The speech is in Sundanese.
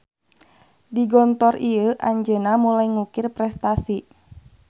Di Gontor ieu anjeunna mulai ngukir prestasi.